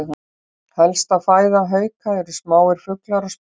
Helsta fæða hauka eru smáir fuglar og spendýr.